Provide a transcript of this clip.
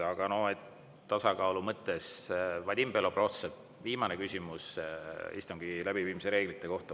Aga no tasakaalu mõttes, Vadim Belobrovtsev, viimane küsimus istungi läbiviimise reeglite kohta.